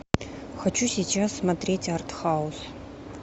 хочу сейчас смотреть артхаус